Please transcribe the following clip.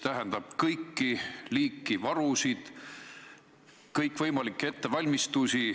Pean silmas igat liiki varusid, kõikvõimalikke ettevalmistusi.